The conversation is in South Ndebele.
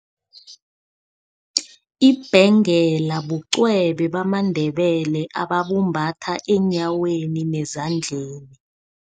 Ibhengela bucwebe bamaNdebele ababumbatha eenyaweni nezandleni.